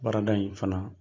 Baarada in fana.